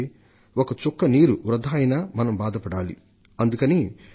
ఒక్క చుక్క నీరు వృథా అయినా సరే మనం ఖేదం చెందాలి పశ్చాత్తాపపడాలి